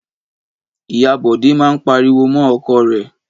Ìyá Bọ̀dé máa ń pariwo mọ́ ọkọ rẹ̀.